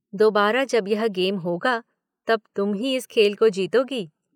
दोबारा जब यह गेम होगा तब तुम ही इस खेल को जीतोगी।